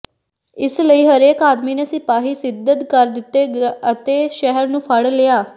ਇਸ ਲਈ ਹਰੇਕ ਆਦਮੀ ਨੇ ਸਿਪਾਹੀ ਸਿਧ੍ਧ ਕਰ ਦਿੱਤੇ ਅਤੇ ਸ਼ਹਿਰ ਨੂੰ ਫ਼ੜ ਲਿਆ